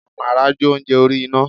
Amara jo ounjẹ orí iná.